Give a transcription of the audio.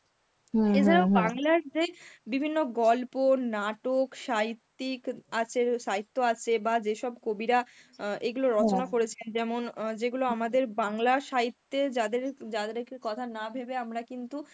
এছাড়াও বাংলার যে বিভিন্ন গল্প, নাটক, সাহিত্যিক আছে, সাহিত্য আছে বা যেসব কবিরা এগুলো রচনা করেছেন যেমন অ্যাঁ যেগুলো আমাদের বাংলার সাহিত্যে যাদের যাদেরকে কথা না ভেবে আমরা কিন্তু